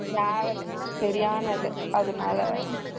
Travel சரியானது அதுனால